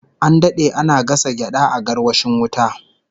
An dade ana gasa gyada a garwashin wuta